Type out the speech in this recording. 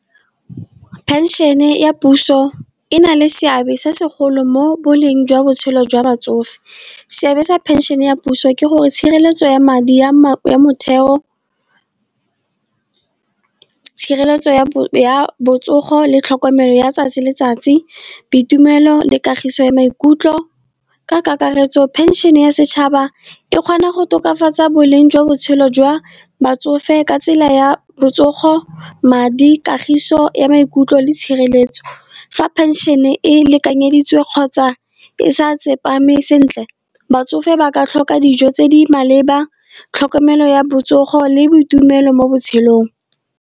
Pension-e ya puso e na le seabe se segolo mo boleng jwa botshelo jwa batsofe. Seabe sa phenšhene ya puso ke gore tshireletso ya madi ya motheo tshireletso ya botsogo le tlhokomelo ya 'tsatsi le letsatsi boitumelo le kagiso ya maikutlo. Ka kakaretso phenšhene ya setšhaba e kgona go tokafatsa boleng jwa botshelo jwa batsofe, ka tsela ya botsogo, madi, kagiso ya maikutlo le tshireletso. Fa pension-e e lekanyeditswe kgotsa e sa tsepame sentle, batsofe ba ka tlhoka dijo tse di maleba, tlhokomelo ya botsogo le boitumelo mo botshelong.